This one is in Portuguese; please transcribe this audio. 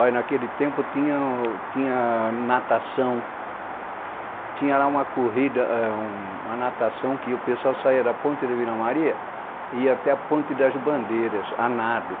Olha, naquele tempo tinha, tinha natação, tinha lá uma corrida, uma natação que o pessoal saia da ponte de Vila Maria e ia até a ponte das bandeiras, a nado.